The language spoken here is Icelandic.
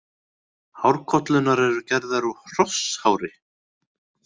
Hárkollurnar eru gerðar úr hrosshári.